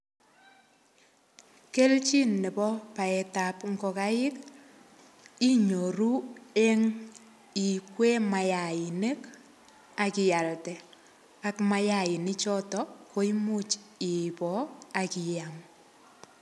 Keljin nebo baetap ngokaik, inyoru eng ikwee mayainik, akialde. Ak mayainik koimuch iboo, akiam.